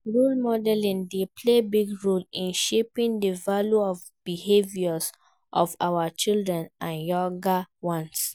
Role modeling dey play big role in shaping di values and behaviors of our children and younger ones.